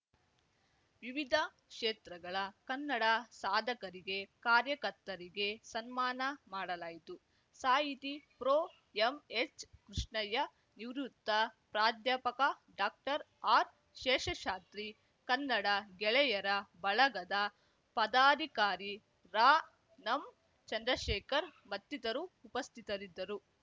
ವಿವಿಧ ಕ್ಷೇತ್ರಗಳ ಕನ್ನಡ ಸಾಧಕರಿಗೆ ಕಾರ್ಯಕರ್ತರಿಗೆ ಸನ್ಮಾನ ಮಾಡಲಾಯಿತು ಸಾಹಿತಿ ಪ್ರೊಎಂಎಚ್‌ಕೃಷ್ಣಯ್ಯ ನಿವೃತ್ತ ಪ್ರಾಧ್ಯಾಪಕ ಡಾಕ್ಟರ್ಆರ್‌ಶೇಷಶಾಸ್ತ್ರಿ ಕನ್ನಡ ಗೆಳೆಯರ ಬಳಗದ ಪದಾಧಿಕಾರಿ ರಾನಂಚಂದ್ರಶೇಖರ್ ಮತ್ತಿತರು ಉಪಸ್ಥಿತರಿದ್ದರು